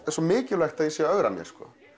svo mikilvægt að ég sé að ögra mér